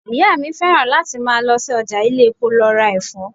Ìyá mi fẹ́ràn láti máa lọ sí ọjà ilé-epo lọ ra Ẹ̀fọ́.